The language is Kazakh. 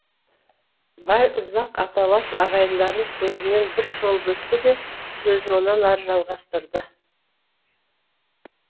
байұзақ аталас ағайындарын көзімен бір шолып өтті де сөзін онан ары жалғастырды